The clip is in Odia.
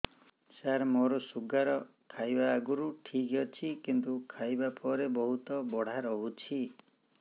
ସାର ମୋର ଶୁଗାର ଖାଇବା ଆଗରୁ ଠିକ ଅଛି କିନ୍ତୁ ଖାଇବା ପରେ ବହୁତ ବଢ଼ା ରହୁଛି